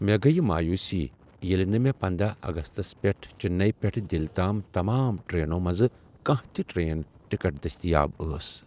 مےٚ گیہ مایوٗسی ییٚلہ نہٕ مےٚ پندہَ اگستَس پیٹھ چننے پیٹھٕ دلہ تام تمام ٹرٛیننو منزٕ کانٛہہ تہ ٹرٛین ٹکٹ دٔستیاب ٲس